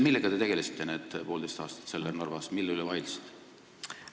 Millega te tegelesite need poolteist aastat seal Narvas, mille üle vaidlesite?